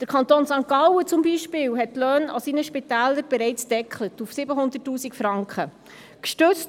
Der Kanton St. Gallen beispielsweise hat die Löhne an seinen Spitälern bereits bei 700 000 Franken gedeckelt.